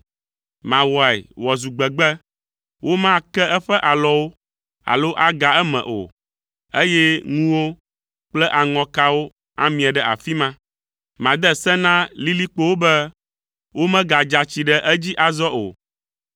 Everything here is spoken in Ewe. Mawɔe wòazu gbegbe, womake eƒe alɔwo alo aga eme o, eye ŋuwo kple aŋɔkawo amie ɖe afi ma. Made se na lilikpowo be womagadza tsi ɖe edzi azɔ o.”